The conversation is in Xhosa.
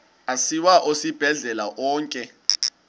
asiwa esibhedlele onke